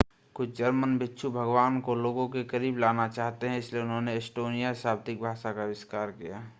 कुछ जर्मन भिक्षु भगवान को लोगों के करीब लाना चाहते हैं इसलिए उन्होंने एस्टोनियाई शाब्दिक भाषा का आविष्कार किया